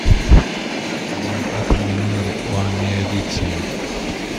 джой атомный номер у америция